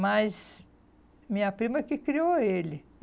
Mas minha prima que criou ele.